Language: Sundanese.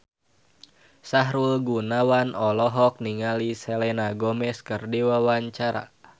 Sahrul Gunawan olohok ningali Selena Gomez keur diwawancara